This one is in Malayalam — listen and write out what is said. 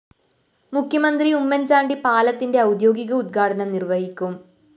മുഖ്യമന്ത്രി ഉമ്മന്‍ ചാണ്ടി പാലത്തിന്റെ ഔദ്യോഗിക ഉദ്ഘാടനം നിര്‍വഹിക്കും